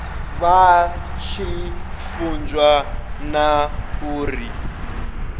vha tshi funzwa na uri